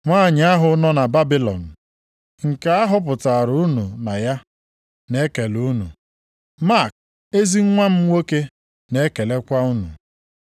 Nwanyị ahụ nọ na Babilọn, nke a họpụtara unu na ya, na-ekele unu. Mak, ezi nwa m nwoke na-ekelekwa unu.